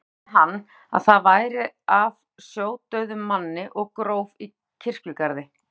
Ætlaði hann að það væri af sjódauðum manni og gróf í kirkjugarði.